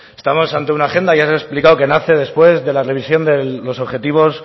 estamos ante una agenda ya les he explicado que nace después de la revisión de los objetivos